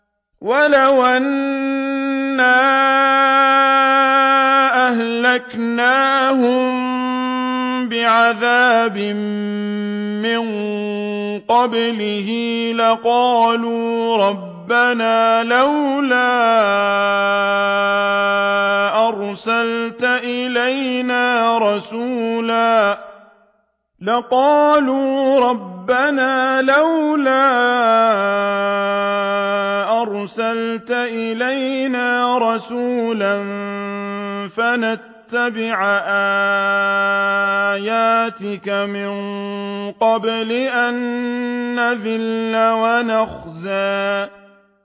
وَلَوْ أَنَّا أَهْلَكْنَاهُم بِعَذَابٍ مِّن قَبْلِهِ لَقَالُوا رَبَّنَا لَوْلَا أَرْسَلْتَ إِلَيْنَا رَسُولًا فَنَتَّبِعَ آيَاتِكَ مِن قَبْلِ أَن نَّذِلَّ وَنَخْزَىٰ